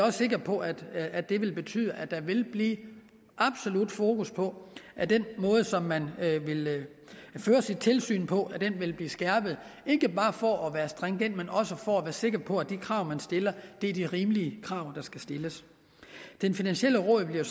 er sikre på at at det vil betyde at der vil blive absolut fokus på at den måde som man vil føre sit tilsyn på vil blive skærpet ikke bare for at være stringent men også for at være sikker på at de krav man stiller er de rimelige krav der skal stilles det finansielle råd bliver